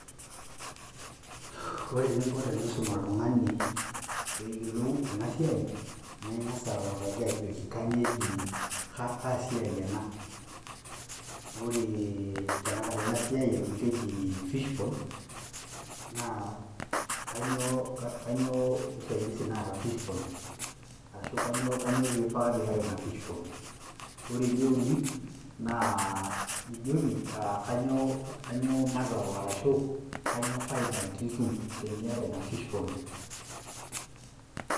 Ore eninko tenisum oltung'ani peyiolou enasiai, na ing'asa autaki ajoki kanyioo eji kasiai ena. Ore tanakata enasiai amu keji fish pond, naa kanyioo usaidizi naata fish pond. Arashu kanyioo pifaa niata ina fish pond. Ore eneuni, naa nijoki kanyioo mazao arashu kanyioo faida nitum teniata ina fish pond.